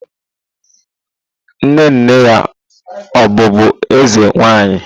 Nne nne ya ọ̀ bụbu eze nwanyi?